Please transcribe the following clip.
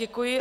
Děkuji.